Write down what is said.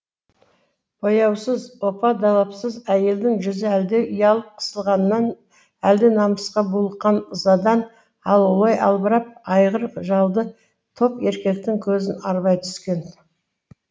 бояусыз опа далапсыз әйелдің жүзі әлде ұялып қысылғаннан әлде намысқа булыққан ызадан алаулай албырап айғыр жалды топ еркектің көзін арбай түскен